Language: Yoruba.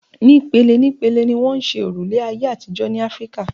Ní pele ní pele ni wọ́n ṣe òrùlé ayé àtijọ́ ní Áfíkà.